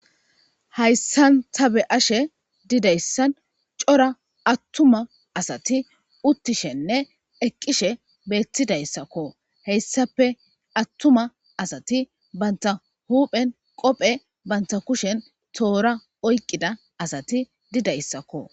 hayssan tabe ashe didayssan cora attuma asati uttishenne eqqishe beettidayssakko heyssape attuma asati banta huphen qophe banta kushen toora oyqqida asati didayssakko